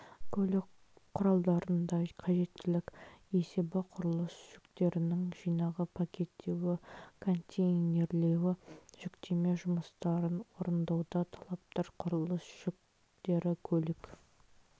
көлік құралдарында қажеттілік есебі құрылыс жүктерінің жинағы пакеттеуі контейнерлеуі жүктеме жұмыстарын орындауда талаптар құрылыс жүктері көлік